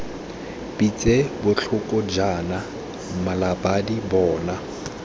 pitse botlhoko jaana mmalabadi bona